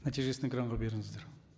нәтижесін экранға беріңіздер